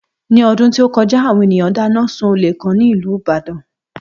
Ní ọdún tó kọjá, àwọn ènìyàn dáná sun olè kan nílùú Ìbàdàn